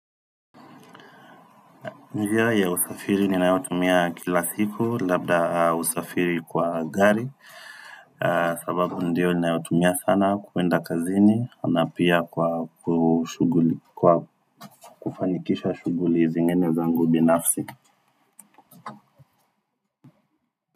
Njia ya usafiri ninayotumia kila siku labda usafiri kwa gari sababu ndio ninayotumia sana kuenda kazini na pia kwa kufanikisha shughuli zingine za ngu bi nafsi.